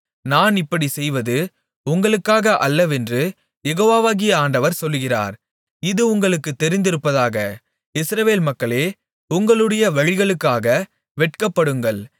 நான் இப்படிச் செய்வது உங்களுக்காக அல்லவென்று யெகோவாகிய ஆண்டவர் சொல்லுகிறார் இது உங்களுக்கு தெரிந்திருப்பதாக இஸ்ரவேல் மக்களே உங்களுடைய வழிகளுக்காக வெட்கப்படுங்கள்